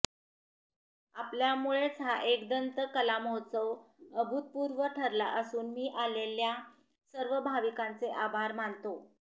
आपल्यामुळेच हा एकदंत कलामहोत्सव अभूतपूर्व ठरला असून मी आलेल्या सर्व भाविकांचे आभार मानतो